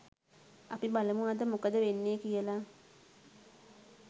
අපි බලමු අද මොකද වෙන්නේ කියලා